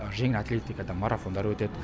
жеңіл атлетикадан марафондар өтеді